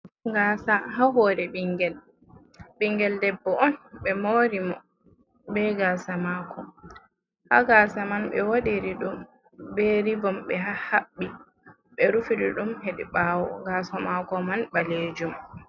Gasa ha hore ɓingel debbo on be mori mo be gasa mako, ha gasa man be wadiri ɗum be ribom ɓe haɓɓi, ɓe rufiri ɗum hedi ɓawo, yaso mako man balejum.